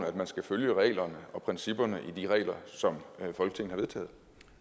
at man skal følge reglerne og principperne i de regler som folketing har vedtaget